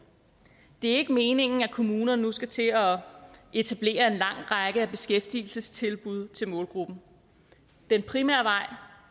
det er ikke meningen at kommunerne nu skal til at etablere en lang række beskæftigelsestilbud til målgruppen den primære vej